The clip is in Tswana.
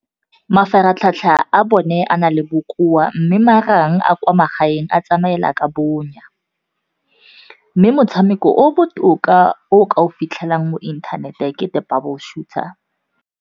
Mafaratlhatlha a bone a na le bokoa mme marang a kwa magaeng a tsamaela ka bonya. Mme motshameko o botoka o ka o fitlhelang mo inthanete ke The Bubble Shooter.